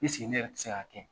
ne yɛrɛ ti se ka kɛ ?